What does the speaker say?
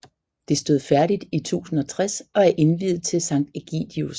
Det stod færdigt i 1060 og er indviet til Sankt Ægidius